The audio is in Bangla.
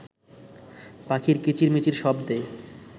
পাখির কিচির-মিচির শব্দে